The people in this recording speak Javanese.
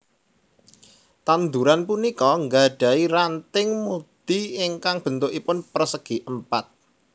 Tanduran punika gadahi ranting mudi ingkang béntukipun pérsègi Èmpat